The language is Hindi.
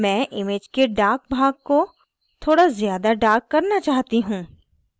मैं image के dark भाग को थोड़ा ज़्यादा dark करना चाहती हूँ